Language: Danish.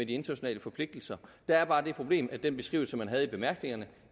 de internationale forpligtelser der er bare det problem at den beskrivelse man havde i bemærkningerne